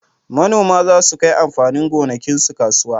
Manoma za su kai amfanin gonakinsu kasuwa